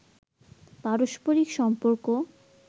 পারস্পরিক সম্পর্ক